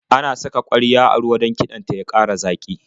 Ana saka ƙwarya a ruwa don kiɗan ta ya ƙara zaƙi.